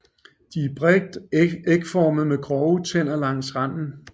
De er bredt ægformede med grove tænder langs randen